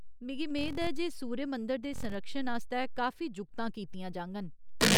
मिगी मेद ऐ जे सूर्य मंदर दे संरक्षण आस्तै काफी जुगतां कीतियां जाङन।